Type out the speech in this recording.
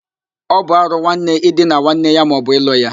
Ọ bụ árụ nwanne idina nwanne ya maọbu ịlụ ya